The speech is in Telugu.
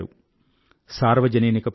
సార్వజనీన ప్రదేశాల్లో ఒక వత్తిడి కనబడుతోంది